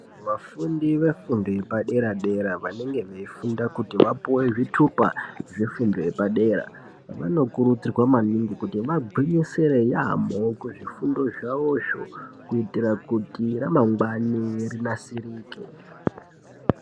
Vafundi vefundo yepadera dera vanenge veifunda kuti vapuwe zvitupa zvefundo yepadera vanokurudzirwa maningi kuti vagwinyisire yaamho kuzvifundo zvavozvo kuitira kuti ramangwani rinasirike.